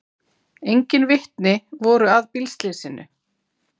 Engin vitni voru að bílslysinu